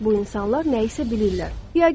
Bu insanlar nəyisə bilirlər.